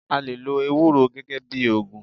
A lè lo ewúro gẹ́gẹ́ bíi ògùn.